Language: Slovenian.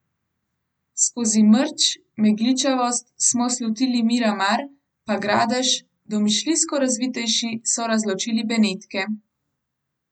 Skozi mrč, megličavost, smo slutili Miramar, pa Gradež, domišljijsko razvitejši so razločili Benetke ...